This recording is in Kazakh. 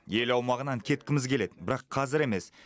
ел аумағынан кеткіміз келеді бірақ қазір емес